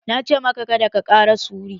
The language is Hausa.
Na ce maka 'Kada ka ƙara sure'!